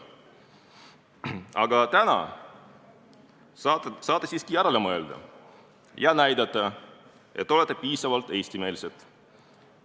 Aga täna saate siiski järele mõelda ja näidata, et olete piisavalt eestimeelsed.